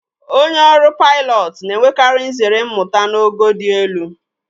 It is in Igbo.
Onye ọrụ paịlọtụ na-enwekari nzere mmụta n'ogo dị elu.